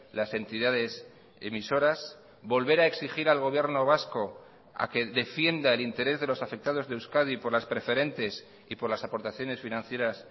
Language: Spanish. las entidades emisoras volver a exigir al gobierno vasco a que defienda el interés de los afectados de euskadi por las preferentes y por las aportaciones financieras